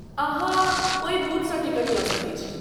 अहाँ ओहि बूथसँ टिकट लऽ सकैत छी।